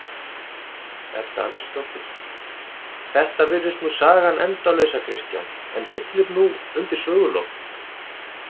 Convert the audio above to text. Edda Andrésdóttir: Þetta virðist nú sagan endalausa Kristján en hyllir nú undir sögulok?